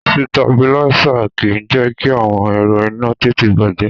Sitabiláísà kì í jẹ́ kí àwọn ẹ̀rọ iná tètè bàjẹ́.